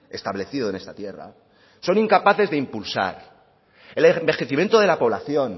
establecido en esta tierra son incapaces de impulsar el envejecimiento de la población